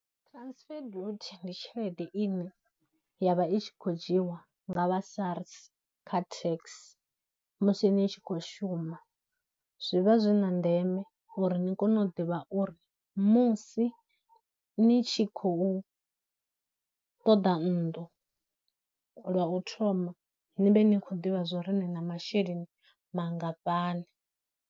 Transfer ndi tshelede ine ya vha i tshi khou dzhiiwa nga vha SARS kha tax musi ni tshi khou shuma, zwivha zwi na ndeme uri ni kone u ḓivha uri musi ni tshi khou ṱoḓa nnḓu lwa u thoma ni vhe ni khou ḓivha zwo ri ni na masheleni mangafhani.